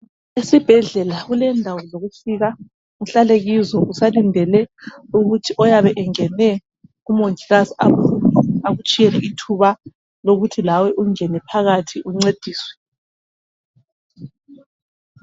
Esibhedlela kulendawo zokufika uhlale kizo usalindele ukuthi oyabe engene kumongikazi aphume akutshiyele ithuba lokuthi lawe ungene phakathi uncediswe.